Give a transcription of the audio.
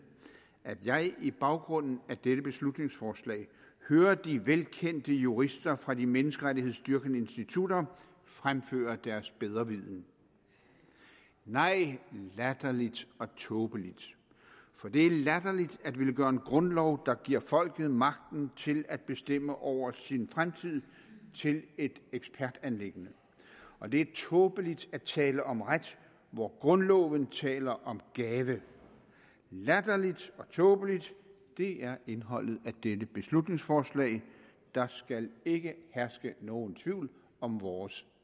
at jeg i baggrunden af dette beslutningsforslag hører de velkendte jurister fra de menneskerettighedsdyrkende institutter fremføre deres bedreviden nej latterligt og tåbeligt for det er latterligt at ville gøre en grundlov der giver folket magten til at bestemme over sin fremtid til et ekspertanliggende og det er tåbeligt at tale om ret hvor grundloven taler om gave latterligt og tåbeligt det er indholdet af dette beslutningsforslag der skal ikke herske nogen tvivl om vores